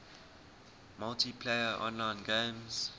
multiplayer online games